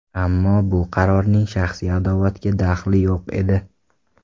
Ammo bu qarorning shaxsiy adovatga daxli yo‘q edi.